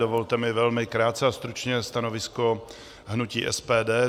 Dovolte mi velmi krátké a stručné stanovisko hnutí SPD.